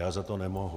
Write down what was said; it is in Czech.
Já za to nemohu.